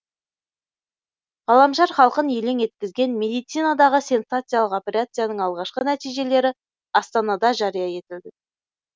ғаламшар халқын елең еткізген медицинадағы сенсациялық операцияның алғашқы нәтижелері астанада жария етілді